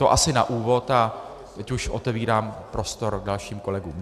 To asi na úvod a teď už otevírám prostor dalším kolegům.